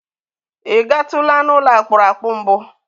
Ị gatụla n'ụlọ akpụrụakpụ mbụ?